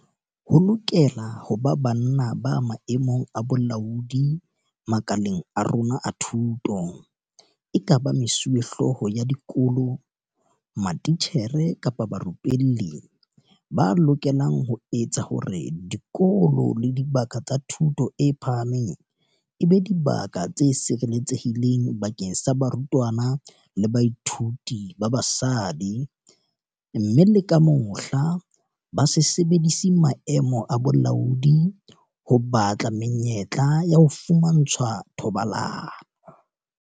Ho lokela ho ba banna ba maemong a bolaodi makaleng a rona a thuto, ekaba mesuwehlooho ya dikolo, matitjhere kapa barupelli, ba lokelang ho etsa hore dikolo le dibaka tsa thuto e phahameng e be dibaka tse sireletsehileng bakeng sa barutwana le bathuiti ba basadi, mme le ka mohla, ba se sebedise maemo a bolaodi ho batla menyetla ya ho fumantshwa thobalano.